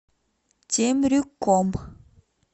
темрюком